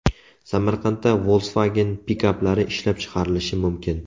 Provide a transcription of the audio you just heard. Samarqandda Volkswagen pikaplari ishlab chiqarilishi mumkin.